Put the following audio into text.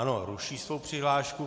Ano, ruší svoji přihlášku.